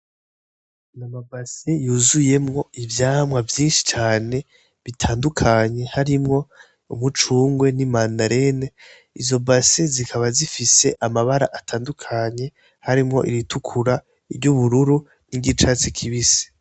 N amabase yuzuyemwo ivyamwa vyinshi cane bitandukanyi harimwo umucungwe n'i manarene izo base zikaba zifise amabara atandukanye harimwo iritukura iryo ubururu n'igicatsi kibise.